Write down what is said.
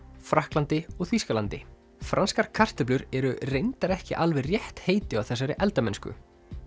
Frakklandi og Þýskalandi franskar kartöflur eru reyndar ekki alveg rétt heiti á þessari eldamennsku